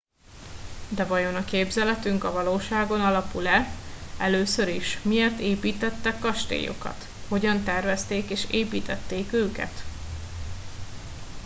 de vajon a képzeletünk a valóságon alapul e először is miért építettek kastélyokat hogyan tervezték és építették őket